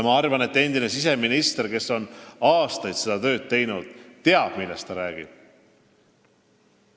Ma arvan, et endine siseminister, kes aastaid seda tööd tegi, teab, millest ta räägib.